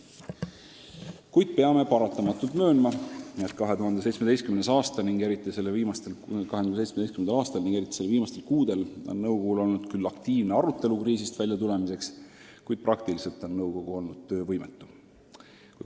Samas peame paratamatult möönma, et 2017. aastal ning eriti selle viimastel kuudel on nõukogu küll aktiivselt arutanud kriisist väljatulemise võimalusi, kuid praktiliselt on nõukogu olnud töövõimetu.